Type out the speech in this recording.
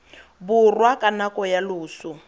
borwa ka nako ya loso